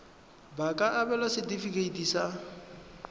ba ka abelwa setefikeiti sa